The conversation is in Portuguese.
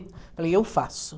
Eu falei, eu faço.